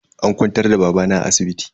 An kwantar da babana a asibiti.